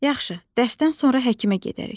Yaxşı, dərsdən sonra həkimə gedərik.